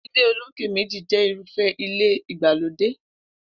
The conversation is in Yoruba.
Ilé olókè méjì jé̩ irúfé̩ ilé ìgbàlódè